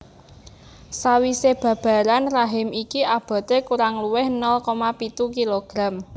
Sawisé babaran rahim iki aboté kurang luwih nol koma pitu kilogram